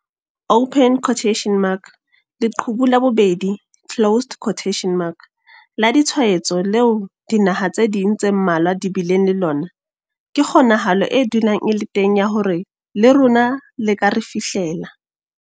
Leqhubu la bobedi la ditshwaetso leo dinaha tse ding tse mmalwa di bileng le lona ke kgonahalo e dulang e le teng ya hore le rona le ka re fihlela.